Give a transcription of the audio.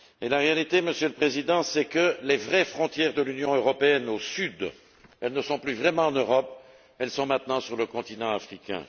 La réalité, Monsieur le Président, c'est que les vraies frontières méridionales de l'Union européenne ne sont plus vraiment en Europe, elles sont maintenant sur le continent africain.